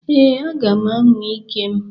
Ee, aga m anwa ike m.